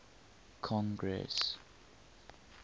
congress